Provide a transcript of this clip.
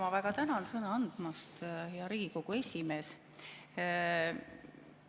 Ma väga tänan sõna andmast, hea Riigikogu esimees!